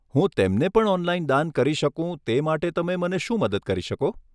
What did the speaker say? હું તેમને પણ ઓનલાઇન દાન કરી શકું તે માટે તમે મને શું મદદ કરી શકો?